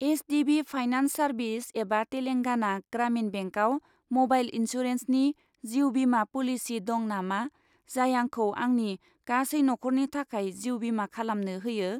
HDB. Finance services एबा तेलांगाना ग्रामिन बेंकआव mobile इन्सुरेन्सनि जिउ बीमा प'लिसि दं नामा, जाय आंखौ आंनि गासै नखरनि थाखाय जिउ बीमा खालामनो होयो?